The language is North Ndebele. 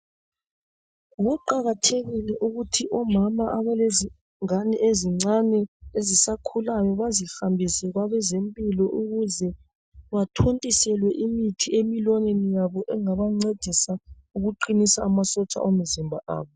Kuqakathekile ukuthi omama abalezingane ezincane ezisakhulayo bazihambise kwabazempilo ukuze bathontiselwe imithi emilonyeni yabo engabancedisa ukuqinisa amasotsha omzimba abo.